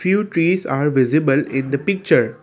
few trees are visible in the picture.